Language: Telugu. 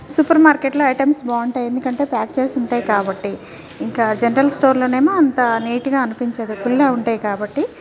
సూపర్ మార్కెట్ లో ఐటమ్స్ బాఉంటాయి ఎందుకంటే ప్యాక్ చేసి ఉంటాయి కాబట్టి ఇంకా జనరల్ స్టోర్స్ లో ఏమో అంత నీట్ గ అనిపించదు కుళ్ళ ఉంటాయి కాబట్టి .